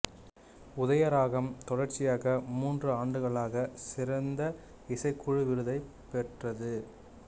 உதய ராகம் தொடர்ச்சியாக மூன்று ஆண்டுகளாக சிறந்த இசைக்குழு விருதைப் பெற்றது